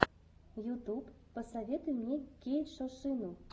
ютьюб посоветуй мне кейтшошину